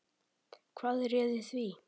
Hvað réði því?